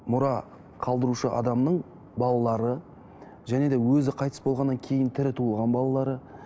мұра қалдырушы адамның балалары және де өзі қайтыс болғаннан кейін тірі туылған балалары